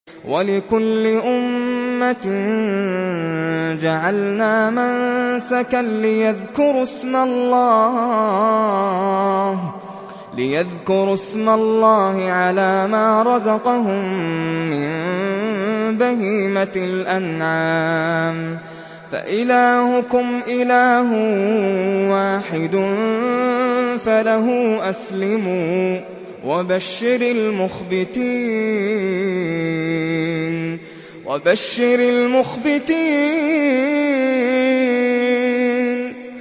وَلِكُلِّ أُمَّةٍ جَعَلْنَا مَنسَكًا لِّيَذْكُرُوا اسْمَ اللَّهِ عَلَىٰ مَا رَزَقَهُم مِّن بَهِيمَةِ الْأَنْعَامِ ۗ فَإِلَٰهُكُمْ إِلَٰهٌ وَاحِدٌ فَلَهُ أَسْلِمُوا ۗ وَبَشِّرِ الْمُخْبِتِينَ